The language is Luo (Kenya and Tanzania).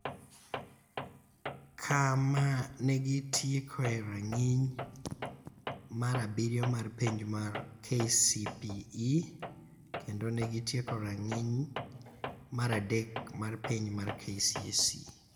kama ne gitiekoe rang�iny mar abiriyo mar penj mar KCPE kendo ne gitieko rang�iny mar adek mar penj mar KCSE.